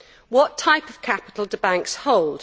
What type of capital do banks hold?